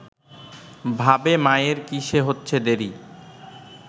ভাবে মায়ের কিসে হচ্ছে দেরি